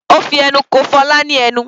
Ó fi ẹnu ko Fola ní ẹnu.